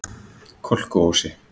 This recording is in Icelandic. Kolkuósi